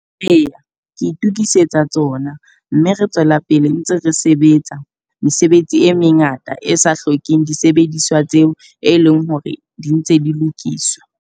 Eya, ke itokisetsa tsona. Mme re tswela pele ntse re sebetsa, mesebetsi e mengata e sa hlokeng disebediswa tseo e leng hore di ntse di lokiswa.